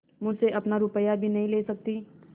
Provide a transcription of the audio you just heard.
मुझसे अपना रुपया भी नहीं ले सकती